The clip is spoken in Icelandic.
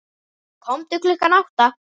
Komdu klukkan átta.